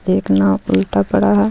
एक नाव उल्टा पड़ा है.